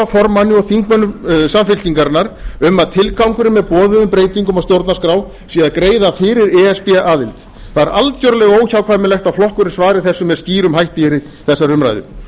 formanni og þingmönnum samfylkingarinnar um að tilgangurinn með boðuðum breytingum á stjórnarskrá sé að greiða fyrir e s b aðild það er algerlega óhjákvæmilegt að flokkurinn svari þessu með skýrum hætti í þessari umræðu